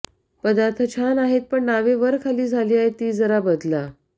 पदार्थ छान आहेत पण नावे वर खाली झाली आहेत ती जरा बदला